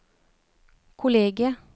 kollegiet